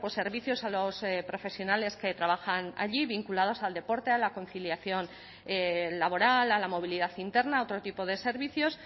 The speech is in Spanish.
servicios a los profesionales que trabajan allí vinculados al deporte a la conciliación laboral a la movilidad interna otro tipo de servicios